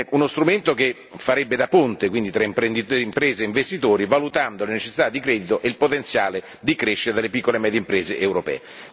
Uno strumento che farebbe da ponte quindi tra imprenditori, imprese, investitori, valutando la necessità di credito e il potenziale di crescita delle piccole e medie imprese europee.